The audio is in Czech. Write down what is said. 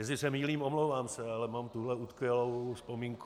Jestli se mýlím, omlouvám se, ale mám tuhle utkvělou vzpomínku.